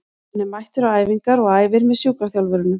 Hann er mættur á æfingar og æfir með sjúkraþjálfurunum.